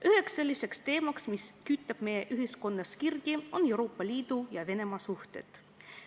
Üheks selliseks teemaks, mis kütab meie ühiskonnas kirgi, on Euroopa Liidu ja Venemaa suhted.